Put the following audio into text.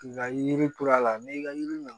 Nka yiri ture la n'i ka yiri